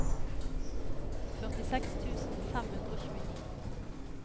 førtiseks tusen fem hundre og tjueni